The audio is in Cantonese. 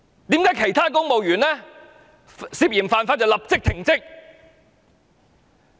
為何其他公務員涉嫌犯法就會立即被停職？